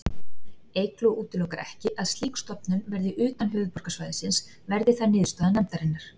Eygló útilokar ekki að slík stofnun verði utan höfuðborgarsvæðisins, verði það niðurstaða nefndarinnar.